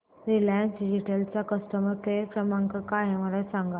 Reliance digital चा customer care क्रमांक काय आहे मला सांगा